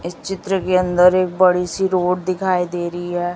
इस चित्र के अंदर एक बड़ी सी रोड दिखाई दे रही है।